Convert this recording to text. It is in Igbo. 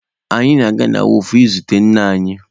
Anyị ga-aga na wọọfụ izute nna anyị.